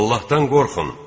Allahdan qorxun!